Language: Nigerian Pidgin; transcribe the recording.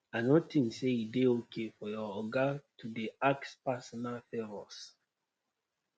i no tink say e dey okay for your oga to dey ask personal favours